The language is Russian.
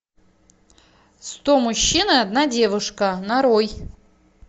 сто мужчин и одна девушка нарой